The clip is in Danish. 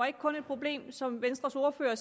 ikke kun et problem som venstres ordfører